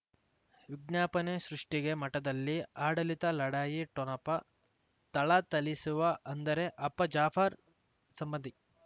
ವಿಜ್ಞಾಪನೆ ಸೃಷ್ಟಿಗೆ ಮಠದಲ್ಲಿ ಆಡಳಿತ ಲಢಾಯಿ ಠೊಣಪ ಥಳಥಳಿಸುವ ಅಂದರೆ ಅಪ್ಪ ಜಾಫರ್ ಸಂಬಂಧಿ